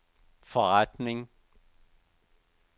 forretning